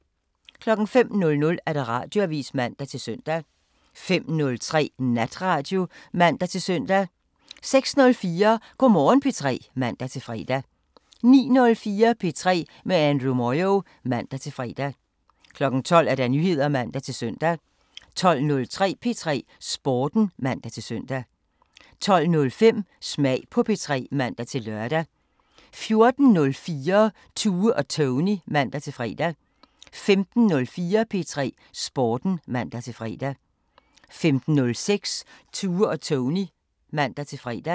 05:00: Radioavisen (man-søn) 05:03: Natradio (man-søn) 06:04: Go' Morgen P3 (man-fre) 09:04: P3 med Andrew Moyo (man-fre) 12:00: Nyheder (man-søn) 12:03: P3 Sporten (man-søn) 12:05: Smag på P3 (man-lør) 14:04: Tue og Tony (man-fre) 15:04: P3 Sporten (man-fre) 15:06: Tue og Tony (man-fre)